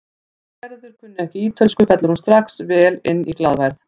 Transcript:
Þótt Gerður kunni ekki ítölsku fellur hún strax vel inn í glaðværð